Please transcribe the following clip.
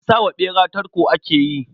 Sa wa ɓera tarko ake yi.